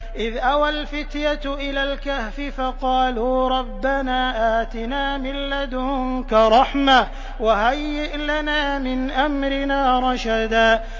إِذْ أَوَى الْفِتْيَةُ إِلَى الْكَهْفِ فَقَالُوا رَبَّنَا آتِنَا مِن لَّدُنكَ رَحْمَةً وَهَيِّئْ لَنَا مِنْ أَمْرِنَا رَشَدًا